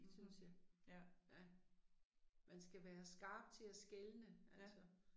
Mhm. Ja. Ja